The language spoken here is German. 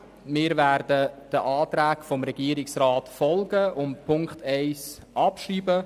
Wir werden den Anträgen des Regierungsrats folgen und den Punkt 1 abschreiben.